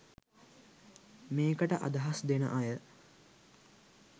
මේකට අදහස් දෙන අය